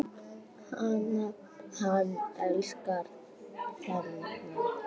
Hann elskar þennan völl.